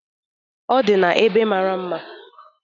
Ọ di n'ebe mara mma.